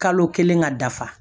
Kalo kelen ka dafa